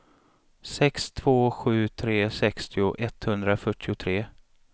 sex två sju tre sextio etthundrafyrtiotre